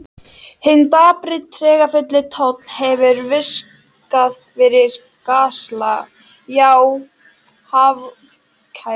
Hinn dapri, tregafulli tónn hefur vikið fyrir galsa, já hálfkæringi.